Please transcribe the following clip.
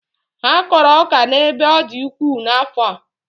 Ha kọrọ ọka n'ebe ọ dị ukwuu n'afọ.